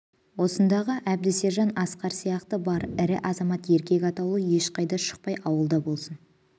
осындағы әбді сержан асқар сияқты бар ірі азамат еркек атаулы ешқайда шықпай ауылда болсын